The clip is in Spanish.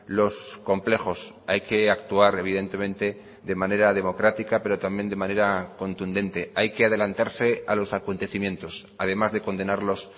los complejos hay que actuar evidentemente de manera democrática pero también de manera contundente hay que adelantarse a los acontecimientos además de condenarlos